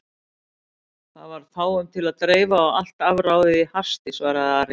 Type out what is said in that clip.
Það var fáum til að dreifa og allt afráðið í hasti, svaraði Ari.